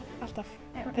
alltaf